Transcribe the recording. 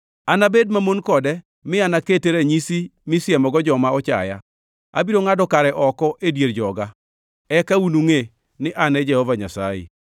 Anabed mamon kode mi akete kaka ranyisi misiemogo joma ochaya. Abiro ngʼado kare oko e dier joga. Eka unungʼe ni An e Jehova Nyasaye.